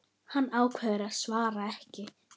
Hann ákveður að svara ekki.